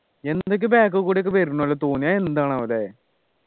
എന്തൊക്കെ back കൂടിയൊക്കെ കൂടി വരുന്ന പോലെ തോന്നി അത് എന്താണ് അവിടെ